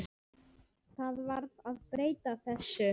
Það verður að breyta þessu.